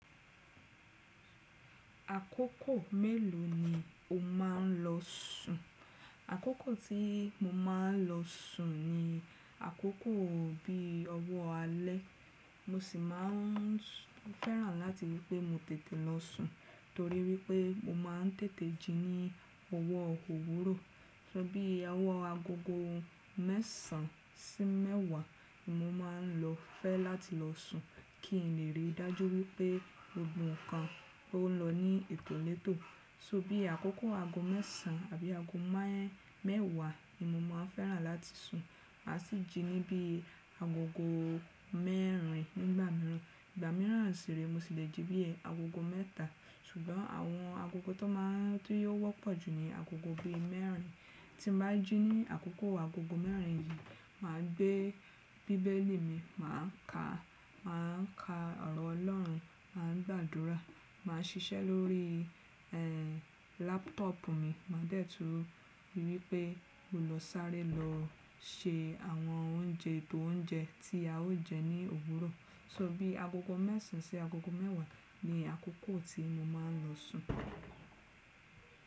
Àkókò mélòó ni o má ń lọ sùn? Àkókò tí mo má ń lọ sùn ni àkókò bí i ọwọ́ alẹ́. Mo sì má ń fẹ́ràn láti rí i pé mo tètè lọ sùn torí wípé mo má n tètè jí ní ọwọ́ òwúrọ̀. So bí i àwọ̀ agogo mé̀sàn án sí mẹ́wàá ni mo má ń lọ fẹ́ láti lọ sùn kí n lè rí i dájú wípé gbogbo kan lọ ní ètò létò. So bí i àkókò ago mé̀sàn á àbí ago mẹ́wàá ni mo má ń fẹ́ràn láti sùn. Màá sì jí ní bí i agogo mẹ́rin nígbà mìíràn. Ìgbà mìíràn sì ree, mo sì lè jí bí i agogo mẹ́ta. Ṣùgbọ́n àwọn agogo tó má n tí yóò wọ́pọ̀ ju ni agogo bí i mẹ́rin. Tí mo bá jí ní àkókò agogo mẹ́rin yìí, màá gbé bíbélì mi, màá ka, màá ka ọ̀rọ̀ ọlọ́run, màá gbàdúrà, màá ṣiṣẹ́ lórí ẹ́, lápútọ̀pù mi. Màá dẹ̀ tún rí i wípé mo lọ sáré lọ ṣe àwọn oúnjẹ, eto oúnjẹ tí a ó jẹ ní òwúrọ̀. So bí i agogo mẹ́sàn án sí agogo mẹ́wàá ni àkókò tí mo má ń lọ sùn.